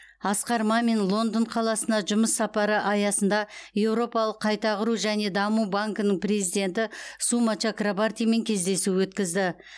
асқар мамин лондон қаласына жұмыс сапары аясында еуропалық қайта құру және даму банкінің президенті сума чакрабартимен кездесу өткізді